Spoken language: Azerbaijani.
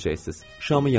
Şamı yandırın.